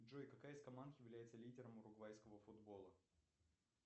джой какая из команд является лидером уругвайского футбола